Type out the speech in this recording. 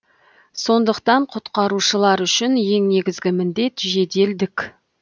сондықтан құтқарушылар үшін ең негізі міндет жеделдік